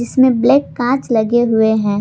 इसमें ब्लैक कांच लगे हुए हैं।